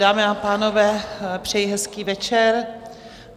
Dámy a pánové, přeji hezký večer.